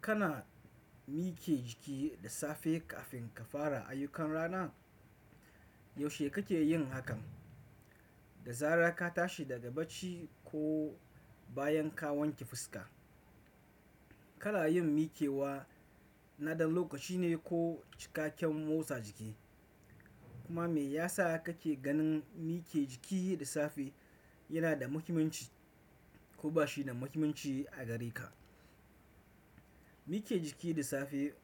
Kana miƙe jiki da safe kafin ka fara ayyukan rana? Yaushe kake yin hakan? Da zarar ka tashi daga bacci ko bayan ka wanke fuska? Kana yin miƙewa na ɗan lokaci ne ko cikakken motsa jiki? Kuma me yasa kake ganin miƙe jiki da safe yana da muhimmanci ko ba shi da muhimmanci a gare ka? Miƙe jiki da safe